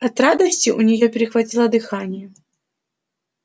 от радости у нее перехватило дыхание